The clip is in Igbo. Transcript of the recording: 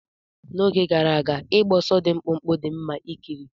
N'oge gara aga, ịgba ọsọ dị mkpụmkpụ dị mma ikiri.